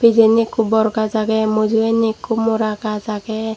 pijenni ekku bor gaj ageh mujongenni ekku mora gaj ageh.